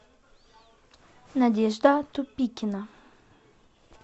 надежда тупикина